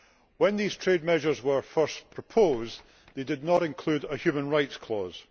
When these trade measures were first proposed they did not include a human rights clause.